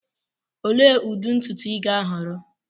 Olee ụdị ntutu ị ga-ahọrọ?